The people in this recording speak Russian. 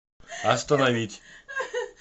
остановить